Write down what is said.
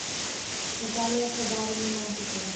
наталья хайдаровна нафикова